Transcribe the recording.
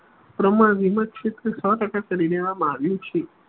પ્રમાણ વીમા ક્ષેત્રે સૌ ટકા કરી કેવા આવ્યું છે